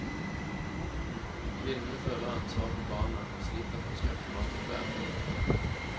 Kvinnene føler ansvaret for barna, og sliter for å skaffe mat og klær.